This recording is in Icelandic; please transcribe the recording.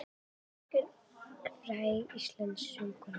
Björk er fræg íslensk söngkona.